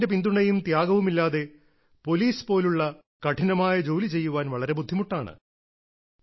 കുടുംബത്തിന്റെ പിന്തുണയും ത്യാഗവുമില്ലാതെ പോലീസ് പോലുള്ള കഠിനമായ ജോലി ചെയ്യാൻ വളരെ ബുദ്ധിമുട്ടാണ്